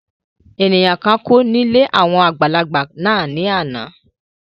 Ẹnìkan kú ní ilé àwọn àgbàlagbà náà ní ana